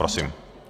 Prosím.